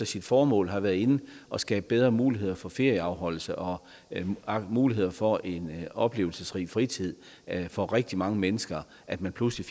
sit formål har været inde og skabe bedre muligheder for ferieafholdelse og muligheder for en oplevelsesrig fritid for rigtig mange mennesker at man pludselig